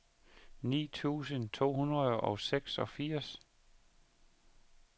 ni tusind to hundrede og seksogfirs